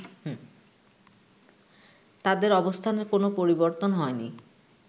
তাদের অবস্থানের কোনো পরিবর্তন হয়নি